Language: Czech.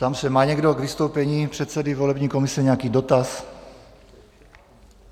Ptám se, má někdo k vystoupení předsedy volební komise nějaký dotaz?